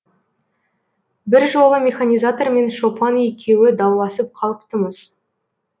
бір жолы механизатор мен шопан екеуі дауласып қалыпты мыс